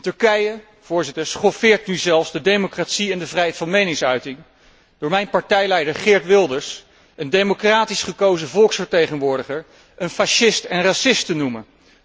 Turkije schoffeert nu zelfs de democratie en de vrijheid van meningsuiting door mijn partijleider Geert Wilders, een democratisch gekozen volksvertegenwoordiger, een fascist en racist te noemen.